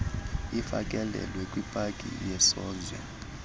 ufakelelwe kwipaki yesozwe